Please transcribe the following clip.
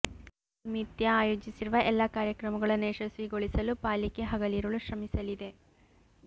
ಈ ನಿಮಿತ್ಯ ಆಯೋಜಿಸಿರುವ ಎಲ್ಲ ಕಾರ್ಯಕ್ರಮಗಳನ್ನು ಯಶಸ್ವಿಗೊಳಿಸಲು ಪಾಲಿಕೆ ಹಗಲಿರಳು ಶ್ರಮಿಸಲಿದೆ